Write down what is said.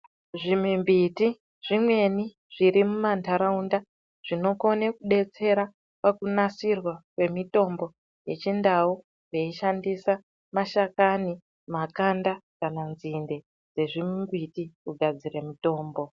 Zvi mimbiti zvimweni zviri muma ndaraunda zvino kone ku detsera paku nasirwa kwe mitombo yechi ndau vei shandisa mashakani makanda kana nzinde dze zvimbiti ku gadzire mitombo.